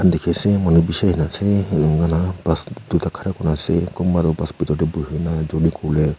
dekhi se manu bisi dekhi ase bus duita khara kori kina ase kunba tu bus bethor te bohe na journey kore.